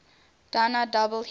dna double helix